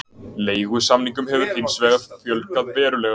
Leigusamningum hefur hins vegar fjölgað verulega